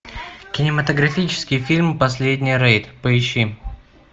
кинематографический фильм последний рейд поищи